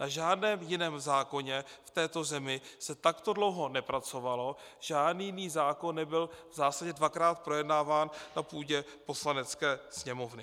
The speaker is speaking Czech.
Na žádném jiném zákoně v této zemi se takto dlouho nepracovalo, žádný jiný zákon nebyl v zásadě dvakrát projednáván na půdě Poslanecké sněmovny.